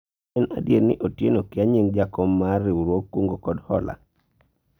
en adier ni Otieno kia nying jakom mar riwruog kungo kod hola